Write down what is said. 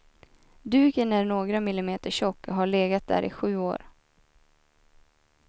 Duken är några millimeter tjock och har legat där i sju år.